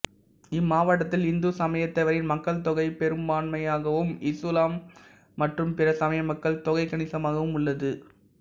இம்மாவட்டத்தில் இந்து சமயத்தவரின் மக்கள் தொகை பெரும்பான்மையாகவும் இசுலாம் மற்றும் பிற சமய மக்கள் தொகை கனிசமாகவும் உள்ளது